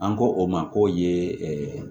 An ko o ma k'o ye